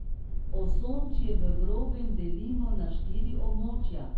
Osončje v grobem delimo na štiri območja.